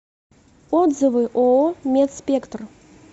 отзывы ооо медспектр